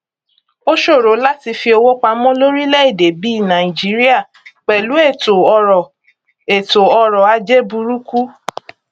ó ṣòro láti fi owó pamọ lórílẹèdè bí nàìjíríà pẹlú ètòọrọ ètòọrọ ajé burúkú